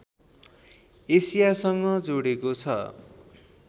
एसियासँग जोडेको छ